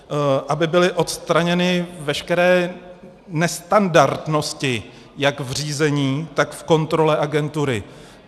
Aby byly odstraněny veškeré nestandardnosti jak v řízení, tak v kontrole agentury.